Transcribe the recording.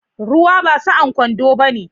Ruwa ba sa'an kwando bane.